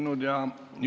Istungi lõpp kell 10.11.